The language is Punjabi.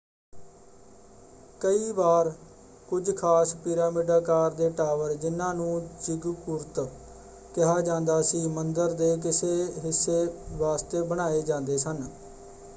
ਕਈ ਵਾਰ ਕੁਝ ਖਾਸ ਪਿਰਾਮਿਡ ਆਕਾਰ ਦੇ ਟਾਵਰ ,ਜਿਨ੍ਹਾਂ ਨੂੰ ਜ਼ਿਗਗੁਰਤ ਕਿਹਾ ਜਾਂਦਾ ਸੀ ਮੰਦਰ ਦੇ ਕਿਸੇ ਹਿੱਸੇ ਵਾਸਤੇ ਬਣਾਏ ਜਾਂਦੇ ਸਨ।